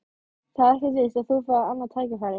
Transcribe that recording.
Það er ekkert víst að þú fáir annað tækifæri